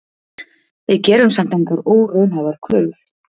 Við gerum samt engar óraunhæfar kröfur